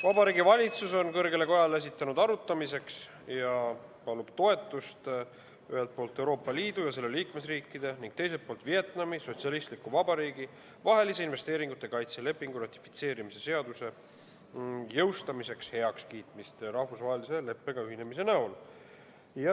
Vabariigi Valitsus on kõrgele kojale esitanud arutamiseks ühelt poolt Euroopa Liidu ja selle liikmesriikide ning teiselt poolt Vietnami Sotsialistliku Vabariigi vahelise investeeringute kaitse lepingu ratifitseerimise seaduse eelnõu ja palub toetust selle jõustamiseks ja rahvusvahelise leppega ühinemise heakskiitmiseks.